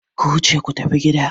Ku wuce ku tafi gida!